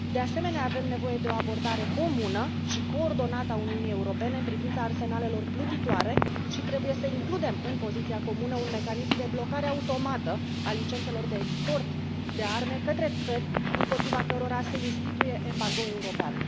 De asemenea, avem nevoie de o abordare comună și coordonată a Uniunii Europene în privința arsenalelor plutitoare și trebuie să includem în poziția comună un mecanism de blocare automată a licențelor de export de arme către țări împotriva cărora se instituie un embargou european.